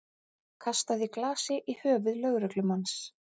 Kastaði glasi í höfuð lögreglumanns